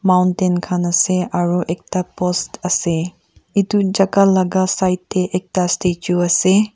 Mountain khan ase aro ekta post ase etu jaka laga side dae ekta statue ase.